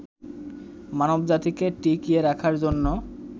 মানবজাতিকে টিকিয়ে রাখার জন্য